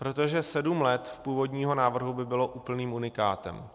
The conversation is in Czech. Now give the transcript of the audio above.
Protože sedm let z původního návrhu by bylo úplným unikátem.